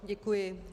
Děkuji.